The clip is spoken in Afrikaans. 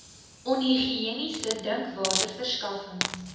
onhigiëniese drinkwater verskaffing